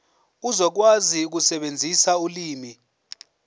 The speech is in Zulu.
uzokwazi ukusebenzisa ulimi